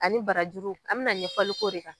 Ani barajuru an bɛna ɲɛfɔliko de kan.